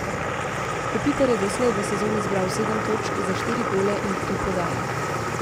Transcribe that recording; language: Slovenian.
Kopitar je doslej v sezoni zbral sedem točk za štiri gole in tri podaje.